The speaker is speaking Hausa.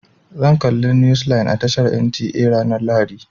Zan galla news line a tashar NTA ranar lahadi.